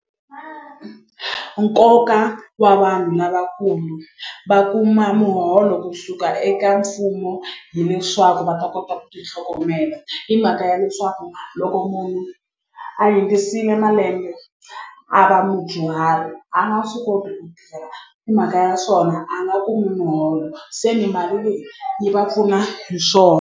Nkoka wa vanhu lavakulu va kuma muholo kusuka eka mfumo hileswaku va ta kota ku ti tlhogomela hi mhaka ya leswaku loko munhu a hundzisile malembe a va mudyuhari a nga swi koti ku hi mhaka ya swona a nga kumi muholo se ni mali leyi yi va pfuna hi swona.